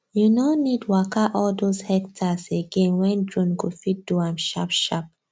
you no need waka all those hectares again when drone go fit do am sharpsharp